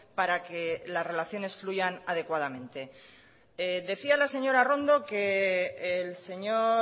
para que las relaciones fluyan adecuadamente decía la señora arrondo que el señor